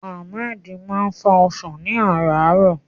Ahmed máa ń fá ọsàn ní àràárọ̀.